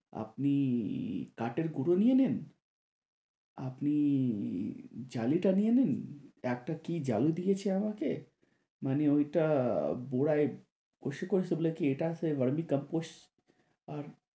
আপনি কাঠের গুড়ো নিয়ে নেন, আপনি জালিটা নিয়ে নিন । একটা কি জালি দিয়েছে আমাকে মানে ঐটা পুরাই গরমের কম্পোশ